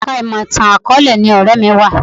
Ẹ̀ka ìmọ̀ ìtàn àkọ̀ọ́lẹ̀ ni ọ̀rẹ́ mi wà